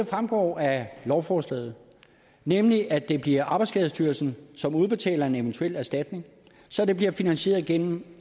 fremgår af lovforslaget nemlig at det bliver arbejdsskadestyrelsen som udbetaler en eventuel erstatning så det bliver finansieret gennem